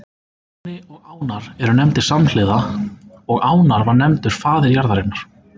Áni og Ánar eru nefndir samhliða og Ánar var nefndur faðir jarðarinnar.